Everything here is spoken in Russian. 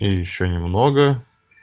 и ещё немного